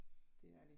Det er de